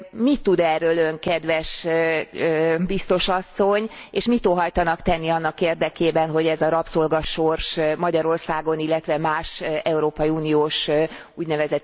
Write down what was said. Mit tud erről Ön, kedves Biztos asszony, és mit óhajtanak tenni annak érdekében, hogy ez a rabszolgasors Magyarországon, illetve más európai uniós ún.